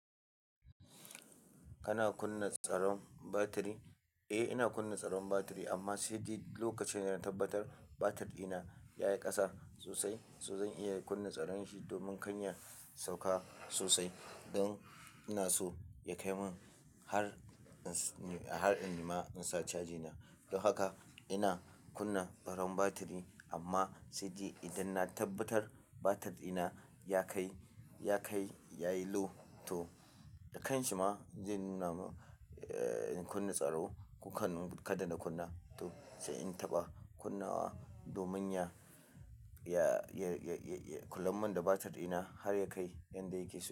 Kana kunna tsaron batiri? Eh, ina kunna tsaron batiri amma sai de lokacin da na tabbatar batir dina ya yi ƙasa sosai, to zan iya kunna tsaron shi domin kan ya sauka sosai don ina so ya kai min har, har in nima in sa caji na. Don haka ina kunna tsaron batiri amma sai ji idan na tabbatar batir dina ya kai, ya kai, yayi low to da kanshi ma zai nuna mun, eh, in kunna tsaro. Ko kan kada na kunna, to sai in taɓa kunna wa domin ya, ya, ya, ya, ya, kulan mun da batir ɗina har ya kai yanda yake so.